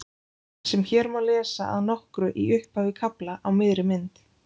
sem hér má lesa að nokkru í upphafi kafla á miðri mynd